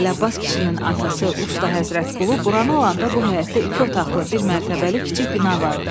Əlabbas kişinin atası Usta Həzrətqulu buranı alanda bu həyətdə iki otaqlı, bir mərtəbəli kiçik bina vardı.